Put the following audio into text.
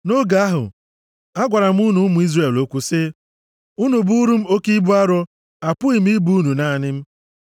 Nʼoge ahụ, agwara m unu ụmụ Izrel okwu sị, “Unu bụụrụ m oke ibu arọ, apụghịkwa m ibu unu naanị m.